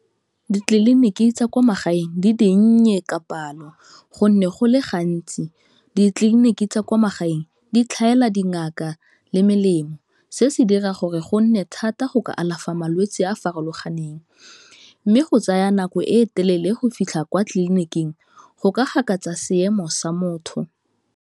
Ditleliniki tsa kwa magaeng di dinnye ka palo, gonne go le gantsi ditleliniki tsa kwa magaeng di tlhaela dingaka le melemo, se se dira gore go nne thata go ka alafa malwetse a a farologaneng mme go tsaya nako e telele go fitlha kwa tleliniking go ka gakatsa seemo sa motho.